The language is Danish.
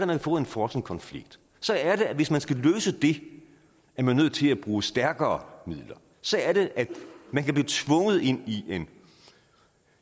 man får en frossen konflikt hvis man skal løse det er man nødt til at bruge stærkere midler så er det man kan blive tvunget ind i en